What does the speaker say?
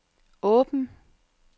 åben